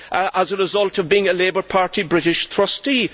as a result of being a Labour Party British trustee.